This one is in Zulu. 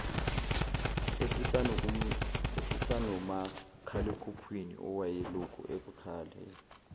esasinomakhalekhukhwini owayelokhu ekhale